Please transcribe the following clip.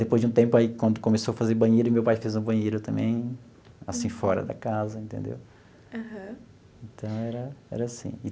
Depois de um tempo, aí quando começou a fazer banheiro, meu pai fez um banheiro também, assim fora da casa entendeu. Aham. Então era era assim.